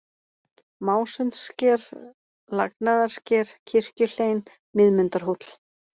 Másundssker, Lagnaðarsker, Kirkjuhlein, Miðmundarhóll